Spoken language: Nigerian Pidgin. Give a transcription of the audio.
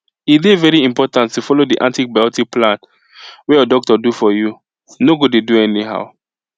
e dey very important to follow the antibiotic plan wey your doctor do for you no go dey do anyhow